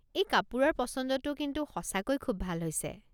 এই কাপোৰৰ পচন্দটো কিন্তু সঁচাকৈ খুব ভাল হৈছে।